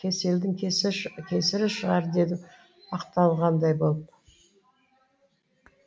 кеселдің кесірі шығар дедім ақталғандай болып